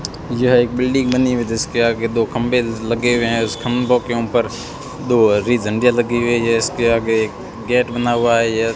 यह एक बिल्डिंग बनी हुई है जिसके आगे दो खंभे लगे हुए हैं उस खम्बो के ऊपर दो हरी झंडिया लगी हुई है इसके आगे गेट बना हुआ है।